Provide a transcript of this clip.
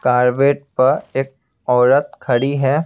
पर एक औरत खड़ी है.